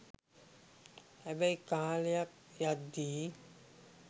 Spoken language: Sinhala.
හැබැයි කාලයක් යද්දී